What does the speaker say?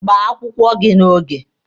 Gbaa akwụkwọ gị n'oge!